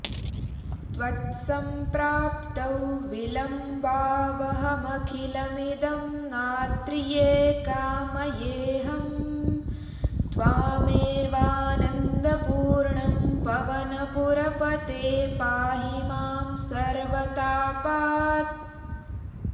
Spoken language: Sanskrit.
त्वत्सम्प्राप्तौ विलम्बावहमखिलमिदं नाद्रिये कामयेऽहं त्वामेवानन्दपूर्णं पवनपुरपते पाहि मां सर्वतापात्